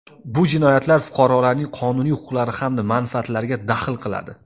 bu jinoyatlar fuqarolarning qonuniy huquqlari hamda manfaatlariga daxl qiladi.